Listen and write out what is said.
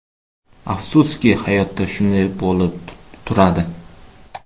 Afsuski, hayotda shunday bo‘lib turadi”.